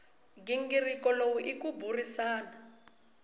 nghingiriko lowu i ku burisana